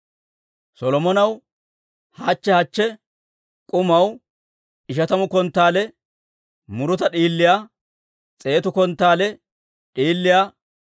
Solomonaw hachche hachche k'umaw ishatamu konttaale muruta d'iiliyaa, s'eetu konttaale d'iiliyaa,